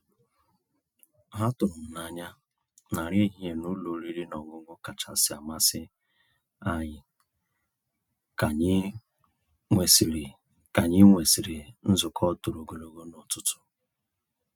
Há tụ̀rụ́ m n'anyà ná nrí èhihie ná ụ́lọ̀ ọ̀rị́rị́ ná ọ̀ṅụ̀ṅụ̀ kàchàsị́ àmàsí ànyị́ kà ànyị́ nwèsị́rị́ kà ànyị́ nwèsị́rị́ nzukọ́ tòró ògòlógò n'ụ̀tụtụ̀.